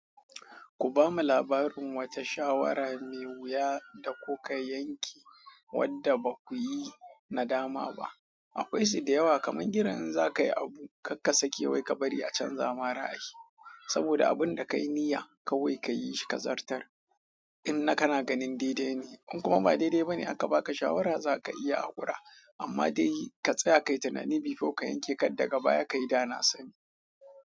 Ku bamu labarin wata shawara mai wuya da kuka yanke wandda ba ku yi nadama ba. Akwai su da yawa kamar irin in za ka yi abu, kar ka sake wai ka bari a canza ma ra'ayi. Saboda abun da ka yi niyya, kawai ka yi shi ka zartar. In na kana ganin daidai ne, in kuma ba daidai ba ne aka ba ka shawara za ka iya haƙura. Amma dai ka tsaya ka yi tunani kafin ka yanke kar daga baya ka yi dana sani.